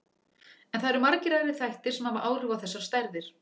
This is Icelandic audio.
En það eru margir aðrir þættir sem hafa áhrif á þessar stærðir.